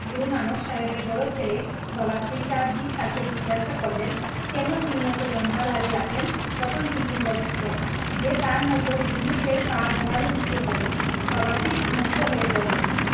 গুরুনানক সাহেবের বড় ছেলে বাবা শ্রী চাঁদদীপ তাকে জিজ্ঞাসা করলেন কেন তিনি এত লম্বা দাড়ি রাখেন তখন তিনি বলছিলেন যে তার মতো হুরমুকের পা ঝাড়ু দিতে হবে বাবাজি খুব মুগ্ধ হয়ে বললেন